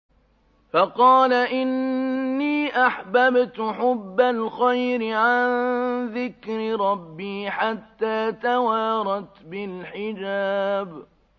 فَقَالَ إِنِّي أَحْبَبْتُ حُبَّ الْخَيْرِ عَن ذِكْرِ رَبِّي حَتَّىٰ تَوَارَتْ بِالْحِجَابِ